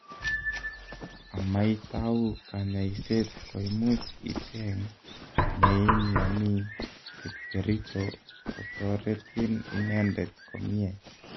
Amaitau kanyaiset koimuch icheng neimnyani kipkericho kotoretin inendet komnye